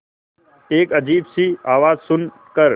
एक अजीब सी आवाज़ सुन कर